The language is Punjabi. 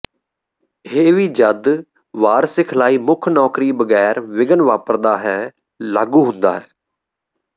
ਇਹ ਵੀ ਜਦ ਵਾਰ ਸਿਖਲਾਈ ਮੁੱਖ ਨੌਕਰੀ ਬਗੈਰ ਵਿਘਨ ਵਾਪਰਦਾ ਹੈ ਲਾਗੂ ਹੁੰਦਾ ਹੈ